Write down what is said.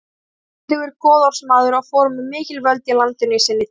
Hann var auðugur goðorðsmaður og fór með mikil völd í landinu í sinni tíð.